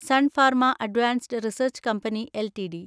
sun Pharma advanced research company LTD